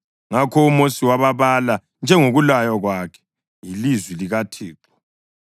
Ngakho uMosi wababala, njengokulaywa kwakhe yilizwi likaThixo.